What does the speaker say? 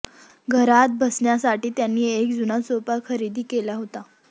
घरात बसण्यासाठी त्यांनी एक जुना सोफा खरेदी केला होता